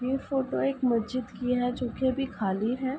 ये फ़ोटो एक मज्जिद की है जो कि अभी खाली है।